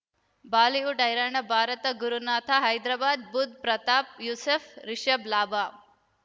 Bollywood ಹೈರಾಣ ಭಾರತ ಗುರುನಾಥ ಹೈದರಾಬಾದ್ ಬುಧ್ ಪ್ರತಾಪ್ ಯೂಸುಫ್ ರಿಷಬ್ ಲಾಭ